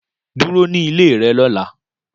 Dúró ní ilé rẹ lóla